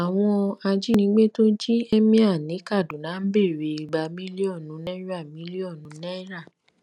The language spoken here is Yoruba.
àwọn ajínigbé tó jí emir ní kaduna ń béèrè igba mílíọnù náírà mílíọnù náírà